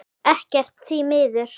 Ekkert, því miður.